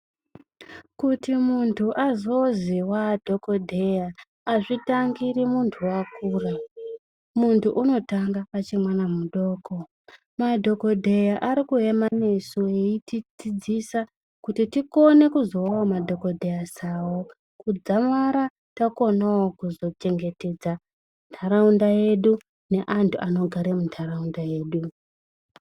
Kuti muntu azozi waadhokodheya, azvitangiri muntu wakura. Muntu unotanga achimwana mudoko. Madhokodheya ari kuyema nesu eyitidzidzisa kuti tikone kuzovawo madhokodheya sawo ,kudzamara takonawo kuzochengetedza ntaraunda yedu neantu anogara muntaraunda yedu.